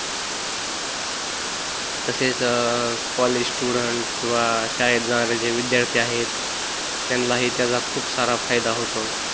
तसेच college student किंवा शाळेत जाणारे जे विद्यार्थी आहे त्यानला ही त्याचा खूप सारा फायदा होतो